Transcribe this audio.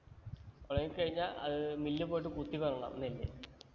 ഒണങ്ങി കഴിഞ്ഞ അത് മില്ലി പോയിട്ട് കുത്തി കൊടുക്കണം നെല്ല്